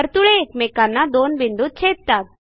वर्तुळे एकमेकांना दोन बिंदूत छेदतात